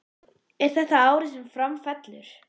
Er þetta árið sem Fram fellur?